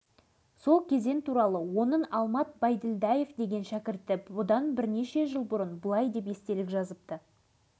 алашыбайдың жалындап тұрған жастық шағымда жұмыс таба алмай кеткен жерім аралыма әкім болып келдім